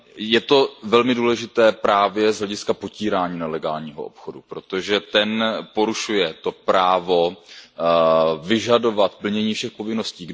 Je to velmi důležité právě z hlediska potírání nelegálního obchodu, protože ten porušuje to právo vyžadovat plnění všech povinností.